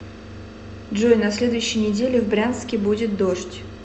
джой на следующей неделе в брянске будет дождь